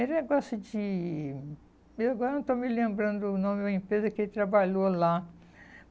Era um negócio de... eu agora não estou me lembrando o nome da empresa que ele trabalhou lá.